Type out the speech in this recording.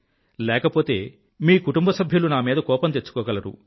లేకపోతే మీ కుటుంబసభ్యులు నామీద కోపం తెచ్చుకోగలరు